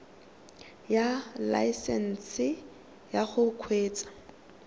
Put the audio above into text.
ya laesesnse ya go kgweetsa